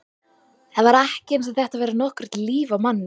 Það var ekki eins og þetta væri nokkurt líf á manni.